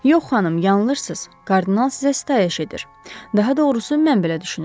Yox, xanım, yanlışsız, kardinal sizə sitayiş edir, daha doğrusu mən belə düşünürəm.